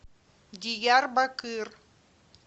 диярбакыр